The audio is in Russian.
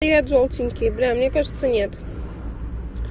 е жёлтенький бля мне кажется нет